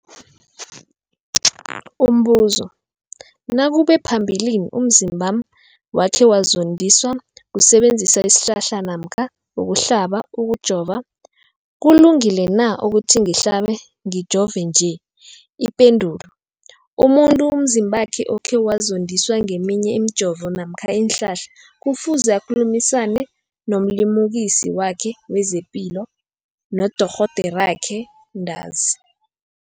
Umbuzo, nakube phambilini umzimbami wakhe wazondiswa kusebenzisa isihlahla namkha ukuhlaba, ukujova, kulungile na ukuthi ngihlabe, ngijove nje? Ipendulo, umuntu umzimbakhe okhe wazondiswa ngeminye imijovo namkha iinhlahla kufuze akhulumisane nomlimukisi wakhe wezepilo, nodorhoderakhe ntanzi.